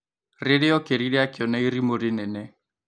Rĩria okĩrire akĩona irimũ rĩnene.